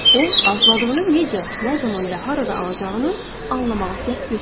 O arzuladığını necə, nə zaman və harada alacağını anlamağa cəhd göstərmir.